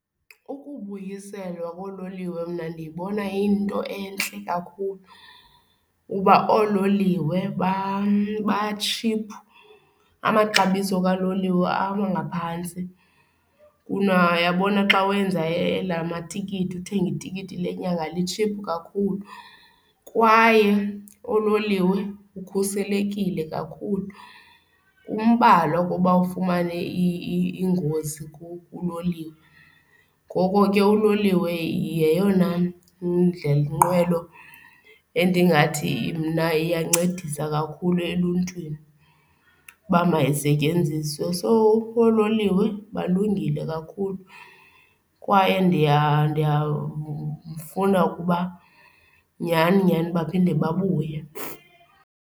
Ukubuyiselwa koololiwe mna ndiyibona iyinto entle kakhulu kuba oololiwe batshiphu. Amaxabiso kaloliwe aba ngaphantsi kuna uyabona xa wenza elaa matikiti, uthenge itikiti lenyanga litshiphu kakhulu, kwaye oololiwe ukhuselekile kakhulu. Kumbalwa ukuba ufumane ingozi kuloliwe. Ngoko ke uloliwe yeyona ndlela nqwelo endingathi mna iyancedisa kakhulu eluntwini uba mayisetyenziswe. So, oololiwe balungile kakhulu kwaye ndiyafuna ukuba nyhani nyhani baphinde babuye.